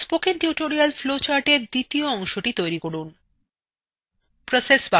spoken tutorial flowchartএর দ্বিতীয় অংশthe তৈরী করুন